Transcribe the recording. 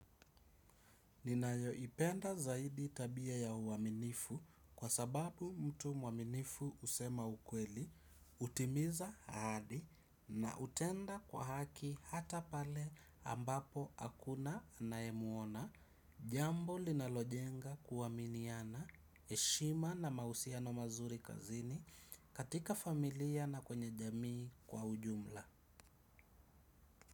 Ninayoipenda zaidi tabia ya uwaminifu kwa sababu mtu mwaminifu usema ukweli, utimiza hadi na utenda kwa haki hata pale ambapo hakuna anayemuona, jambo linalojenga kuwaminiana, heshima na mahusiano mazuri kazini katika familia na kwenye jamii kwa ujumla.